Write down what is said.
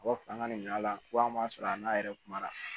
A b'a fɔ an ka nin ala ko an ma sɔrɔ a n'a yɛrɛ kuma na